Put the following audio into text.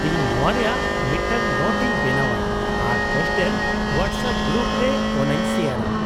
ᱤᱧ ᱱᱚᱶᱟ ᱨᱮᱭᱟᱜ ᱢᱤᱫᱴᱟᱝ ᱱᱳᱴ ᱤᱧ ᱵᱮᱱᱟᱣᱼᱟ ᱟᱨ ᱦᱳᱥᱴᱮᱞ ᱦᱳᱣᱟᱴᱥᱮᱯ ᱜᱨᱩᱯ ᱨᱮ ᱚᱱᱟᱧ ᱥᱮᱭᱟᱨᱼᱟ ᱾